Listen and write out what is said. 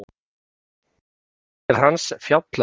Doktorsritgerð hans fjallaði um